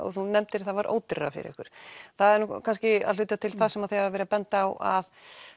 og þú nefndir að það var ódýrara fyrir ykkur það er kannski að hluta til það sem þið hafið verið að benda á að